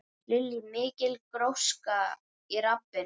Lillý: Mikil gróska í rappinu?